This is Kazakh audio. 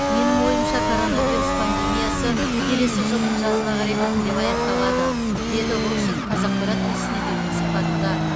менің ойымша коронавирус пандемиясы келесі жылдың жазына қарай біртіндеп аяқталады дейді локшин қазақпарат тілшісіне берген сұхбатында